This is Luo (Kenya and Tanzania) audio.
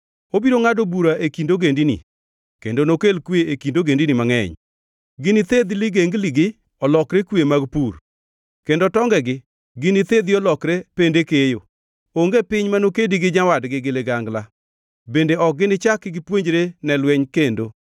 Obiro ngʼado bura e kind ogendini kendo nokel kwe e kind ogendini mangʼeny. Ginithedh ligengligi olokre kwe mag pur kendo tongegi ginithedhi olokre pende keyo. Onge piny mano kedi gi nyawadgi gi ligangla bende ok ginichak gipuonjre ne lweny kendo.